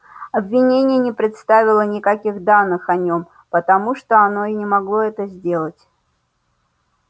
обвинение не представило никаких данных о нем потому что оно и не могло это сделать